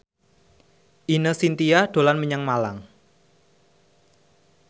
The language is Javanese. Ine Shintya dolan menyang Malang